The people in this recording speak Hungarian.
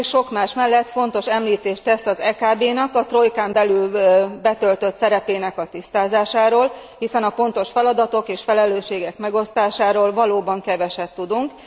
A jelentés, sok más mellett, fontos említést tesz az EKB által a trojkán belül betöltött szerep tisztázásáról. Hiszen a feladatok és felelősségek pontos megosztásáról valóban keveset tudunk.